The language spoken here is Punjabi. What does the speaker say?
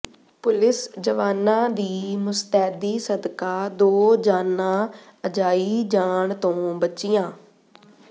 ਪੁਲਿਸ ਜਵਾਨਾਂ ਦੀ ਮੁਸਤੈਦੀ ਸਦਕਾ ਦੋ ਜਾਨਾਂ ਅਜਾਈਾ ਜਾਣ ਤੋਂ ਬਚੀਆਂ